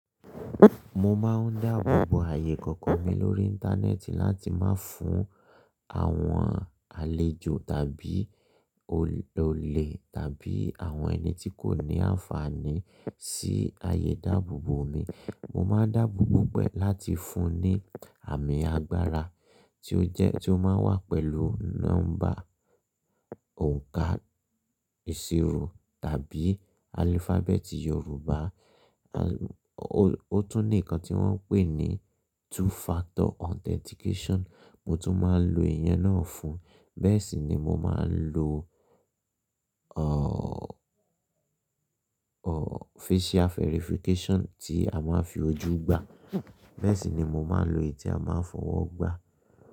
Mo máa ń dáàbò bo ààyè ikọ̀ko mi lórí Íńtánẹ́ẹ̀tì láti má fún àwọn àlejò tàbí olè tàbí àwọn ẹni tí kò ní àǹfààní sí ààyè dáàbòbo mi. Mo máa ń dáàbòbo gbogbo e láti fún un ní àmì agbára tí ó jẹ́, tí ó máa ń wà pẹ̀lú nọ́mbà òǹkà ìṣirò tàbí alifábẹ́ẹ̀tì Yorùbá. O tún ní ikan tí wọ́n ń pè ní two factor authentication, mo tún máa ń lo ìyẹn náà fun. Bẹ́ẹ̀ sì ni mo máa ń lo, ọ̀, ọ̀, facial verification tí a máa ń fi ojú gbà. Bẹ́ẹ̀ sì ni mo máa ń lo èyí tí a máa ń fowo gbà.